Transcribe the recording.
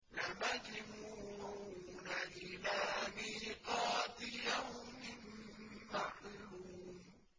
لَمَجْمُوعُونَ إِلَىٰ مِيقَاتِ يَوْمٍ مَّعْلُومٍ